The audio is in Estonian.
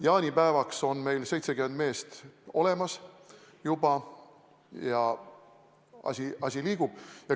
Jaanipäevaks on meil 70 meest olemas, asi liigub.